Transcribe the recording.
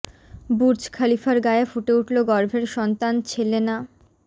Burj খালিফার গায়ে ফুটে উঠল গর্ভের সন্তান ছেলে না